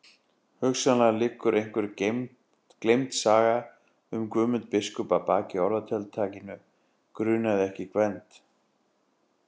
Hugsanlega liggur einhver gleymd saga um Guðmund biskup að baki orðatiltækinu grunaði ekki Gvend.